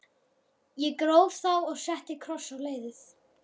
Ég gróf þá og setti kross á leiðið.